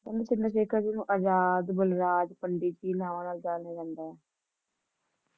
ਕਹਿੰਦੇ ਚੰਦਰ ਸ਼ੇਖਰ ਜੀ ਨੂੰ ਆਜ਼ਾਦ, ਬਲਰਾਜ, ਪੰਡਿਤ ਜੀ ਨੇ ਨਾਂ ਨਾਲ ਜਾਣਿਆ ਜਾਂਦਾ ਹੈ